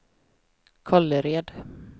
Kållered